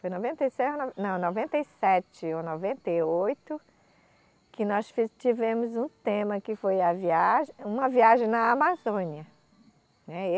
Foi noventa e se, não, noventa e sete ou noventa e oito que nós fi tivemos um tema, que foi a viagem, uma viagem na Amazônia, né.